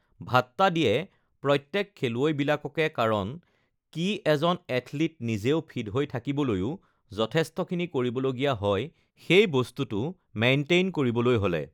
ভাট্টা দিয়ে প্ৰত্যেক খেলুৱৈবিলাককে কাৰণ কি এজন এথলিট নিজেও ফিট হৈ থাকিবলৈও যথেষ্টখিনি কৰিব লগীয়া হয় সেই বস্তুটো মেইনটেইন কৰিবলৈ হ'লে